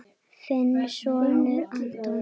Þinn sonur, Anton.